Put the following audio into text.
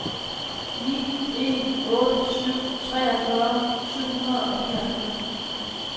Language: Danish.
ni en otte syv treogfyrre syv hundrede og nioghalvfems